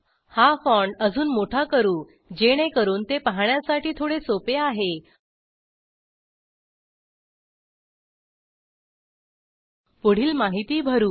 हा फॉन्ट अजून मोठा करूजेणेकरून ते पाहण्यासाठी थोडे सोपे आहे पुढील माहिती भरू